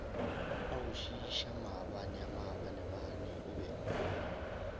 agošiiša maabaneaa maabanebane o be